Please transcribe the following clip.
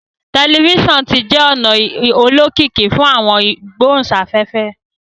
Telifisonu ti jẹ ona olokiki fun awọn igbohunsafefe